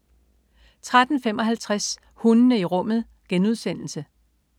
13.55 Hundene i rummet*